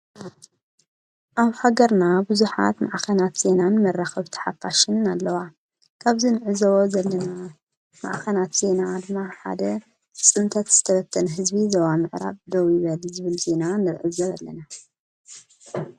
ኣብ ሃገርና ብዙሓት ማዕኸናት ዜናን መራኸብቲ ሓፋሽን ኣለዋ፡፡ ካብዚ ንዕዘዎ ዘለና ማኣኸናት ዜና ሓደ ብጽንተት ዝተበተነ ህዝቢ ዞባ ምዕራብ ደው ይበል ዝብል ዜና ንዕዘብ ኣለና፡፡